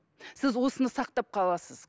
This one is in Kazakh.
сіз осыны сақтап қаласыз